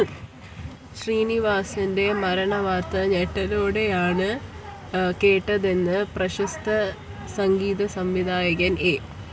ശ്രീനിവാസിന്റെ മരണവാര്‍ത്ത ഞെട്ടലോടെയാണ് കേട്ടതെന്ന് പ്രശസ്ത സംഗീത സംവിധായകന്‍ എ